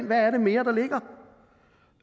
hvad det mere